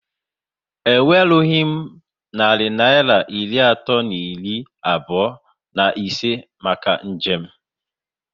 E nwerughị m narị Naịra iri atọ na iri abụọ na ise maka njem